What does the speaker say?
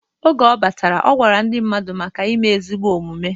Oge ọ batara, ọ gwara ndị mmadụ maka ime ezigbo omumue.